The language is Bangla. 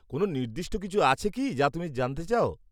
কোনও নির্দিষ্ট কিছু আছে কি, যা তুমি জানতে চাও?